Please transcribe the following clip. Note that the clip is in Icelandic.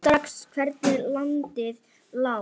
Sá strax hvernig landið lá.